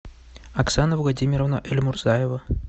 оксана владимировна эльмурзаева